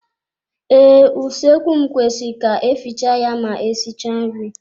Ee, usoekwu kwesịrị ka efiche ya ma esichaa nri.